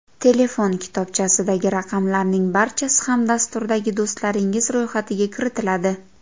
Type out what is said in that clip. Telefon kitobchasidagi raqamlarning barchasi ham dasturdagi do‘stlaringiz ro‘yxatiga kiritiladi.